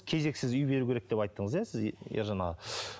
кезексіз үй беру керек деп айттыңыз иә сіз ержан аға